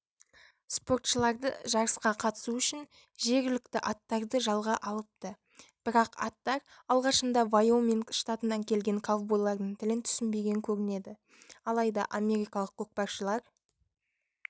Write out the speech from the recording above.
спортшылары жарысқа қатысу үшін жергілікті аттарды жалға алыпты бірақ аттар алғашында вайоминг штатынан келген ковбойлардың тілін түсінбеген көрінеді алайда америкалық көкпаршылар